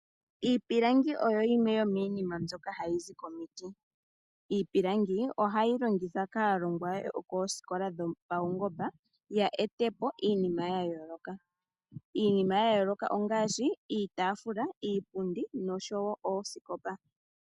Iipilangi oyo yimwe yomiinima mbyoka hayi zi komiti. Iipilangi ohayi longithwa kaalongwa yokoosikola dhopaungomba ya vule oku eta po iinima ya yooloka. Iinima ya yooloka ongaashi iitaafula, iipundi noshowo oosikopa.